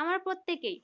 আমরা প্রত্যেকেই